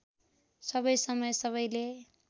सबै समय सबैले